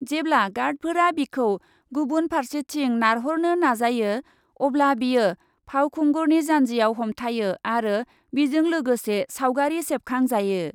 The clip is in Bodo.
जेब्ला गार्डफोरा बिखौ गुबुन फार्सेथिं नारहरनो नाजायो अब्ला बियो फावखुंगुरनि जानजियाव हमथायो आरो बिजों लोगोसे सावगारि सेबखां जायो।